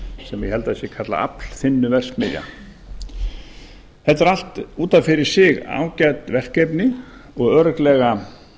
sem ég held að sé kallað aflþynnuverksmiðja þetta er allt út af fyrir ágæt verkefni og örugglega